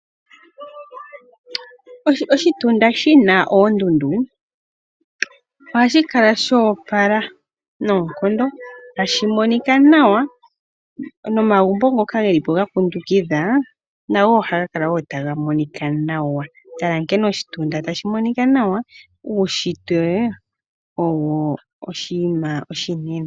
Oshitunda shina oondundu ohashi kala sho opala noonkondo tashi monika nawa. Omagumbo ngono geli po gakundukitha oondundu ohaga kala taga monika nawa. Tala nkene oshitunda tashi monika nawa onkene uushitwe owo oshinima oshinene.